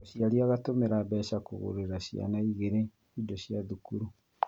Mũciari agatũmĩra mbeca kũgũrĩra ciana igirĩ indo cia cukuru